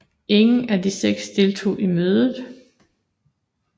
Ingen af de seks deltog i mødet